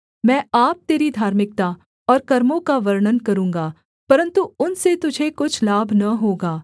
मैं आप तेरी धार्मिकता और कर्मों का वर्णन करूँगा परन्तु उनसे तुझे कुछ लाभ न होगा